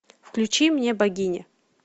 включи мне богиня